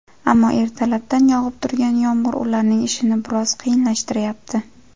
Ammo, ertalabdan yog‘ib turgan yomg‘ir ularning ishini biroz qiyinlashtirayapti.